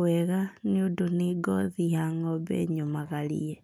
wega nĩũndũ nĩ ngothi ya ng'ombe nyũmagarie.